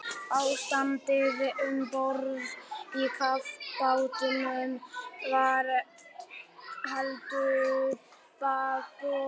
Ástandið um borð í kafbátnum var heldur bágborið.